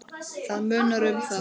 Það munar um það.